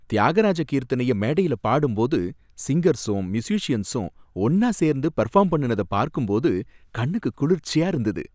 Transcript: தியாகராஜ கீர்த்தனைய மேடையில பாடும்போது சிங்கர்ஸும் மியூஸிசியன்ஸும் ஒன்னா சேர்ந்து பெர்ஃபார்ம் பண்ணுனத பார்க்கும் போது கண்ணுக்கு குளிர்ச்சியா இருந்தது